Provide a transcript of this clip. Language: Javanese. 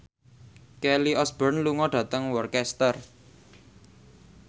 Kelly Osbourne lunga dhateng Worcester